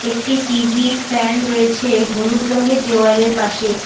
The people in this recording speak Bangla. একটি টি_ভি ফ্যান রয়েছে হলুদ রঙ্গের দেয়ালের পাশে।